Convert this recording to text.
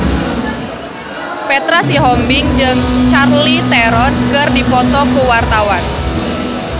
Petra Sihombing jeung Charlize Theron keur dipoto ku wartawan